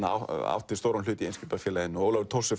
átti stóran hlut í Eimskipafélaginu Ólafur Thors er